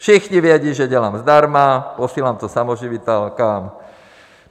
Všichni vědí, že dělám zdarma, posílám to samoživitelkám.